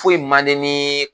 Foyi mandi nii